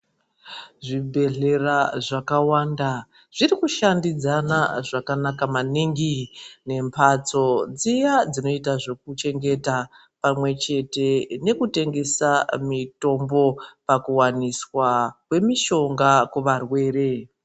Zvibhedhlera zvakawanda zviri kushandidzana zvakanaka maningi nemhatso dziya dzinoita zvekuchengeta pamwe chete nekutengesa mutombo pakuwaniswa kwemishonga kuvarwere.